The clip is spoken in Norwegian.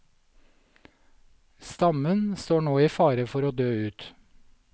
Stammen står nå i fare for å dø ut.